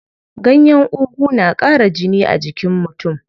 Ganyen ugu na ƙara jini a jikin mutum.